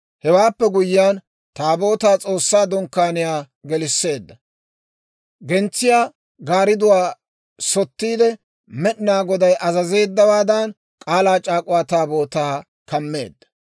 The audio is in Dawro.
Hewaappe guyyiyaan Taabootaa S'oossaa Dunkkaaniyaa gelisseedda; gentsiyaa gaaridduwaa sottiide, Med'inaa Goday azazeeddawaadan K'aalaa c'aak'uwaa Taabootaa kammeedda.